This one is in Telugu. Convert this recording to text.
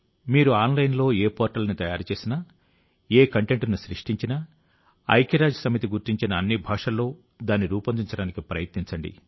మీరు ఆన్లైన్లో ఏ పోర్టల్ని తయారుచేసినా ఏ కంటెంట్ను సృష్టించినా ఐక్యరాజ్యసమితి గుర్తించిన అన్ని భాషల్లో దాన్ని రూపొందించడానికి ప్రయత్నించండి